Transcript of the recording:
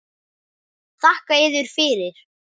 Þakka yður fyrir.